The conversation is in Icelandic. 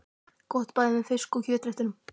Gott bæði með fisk- og kjötréttum.